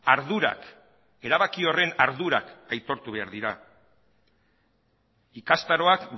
ardurak erabaki horren ardurak aitortu behar dira ikastaroak